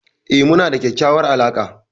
E, muna da kyakkyawar alaqa.